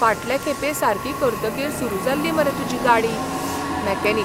फाटले खेपे सारकी करतकीर सुरू जाल्ली मरे तुजी गाडी. मॅकॅनिक